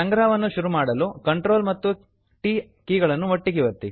ಸಂಗ್ರಹವನ್ನು ಶುರು ಮಾಡಲು Ctrl ಮತ್ತು t ಕೀ ಗಳನ್ನು ಒಟ್ಟಿಗೆ ಒತ್ತಿ